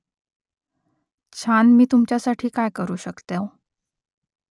छान मी तुमच्यासाठी काय करू शकतो ?